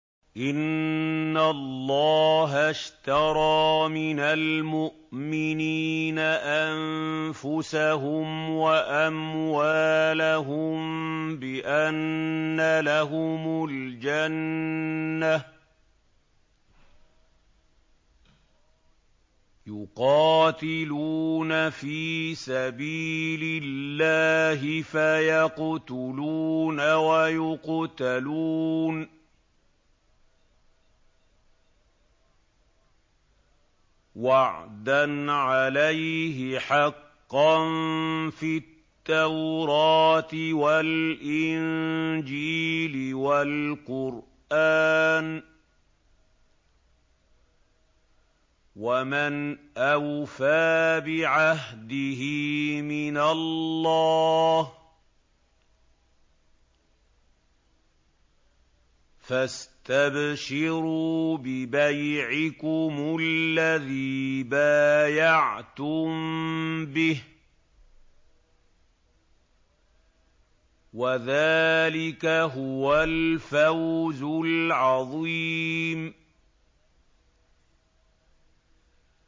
۞ إِنَّ اللَّهَ اشْتَرَىٰ مِنَ الْمُؤْمِنِينَ أَنفُسَهُمْ وَأَمْوَالَهُم بِأَنَّ لَهُمُ الْجَنَّةَ ۚ يُقَاتِلُونَ فِي سَبِيلِ اللَّهِ فَيَقْتُلُونَ وَيُقْتَلُونَ ۖ وَعْدًا عَلَيْهِ حَقًّا فِي التَّوْرَاةِ وَالْإِنجِيلِ وَالْقُرْآنِ ۚ وَمَنْ أَوْفَىٰ بِعَهْدِهِ مِنَ اللَّهِ ۚ فَاسْتَبْشِرُوا بِبَيْعِكُمُ الَّذِي بَايَعْتُم بِهِ ۚ وَذَٰلِكَ هُوَ الْفَوْزُ الْعَظِيمُ